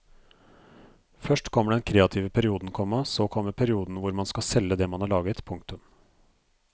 Først kommer den kreative perioden, komma så kommer perioden hvor man skal selge det man har laget. punktum